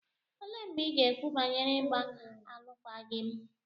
Olee mgbe ị ga-ekwu banyere ịgba alụkwaghịm gị?